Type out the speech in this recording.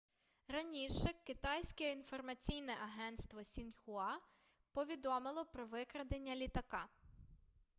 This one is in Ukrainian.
раніше китайське інформаційне агентство сіньхуа повідомило про викрадення літака